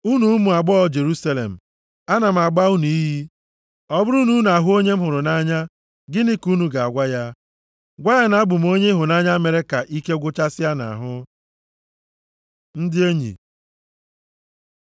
Unu ụmụ agbọghọ Jerusalem, ana m agba unu iyi, ọ bụrụ na unu ahụ onye m hụrụ nʼanya, gịnị ka unu ga-agwa ya? Gwa ya na abụ m onye ịhụnanya mere ka ike gwụchasịa nʼahụ. Ndị Enyi